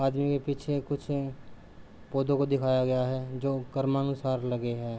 आदमी के पीछे कुछ को दिखाया गया है जो करमा अनुसार लगे है।